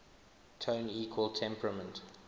tone equal temperament